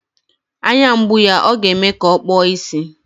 Anya mgbu ya ọ ga-eme ka o kpuo ìsì.